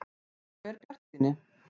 . einhver bjartsýni.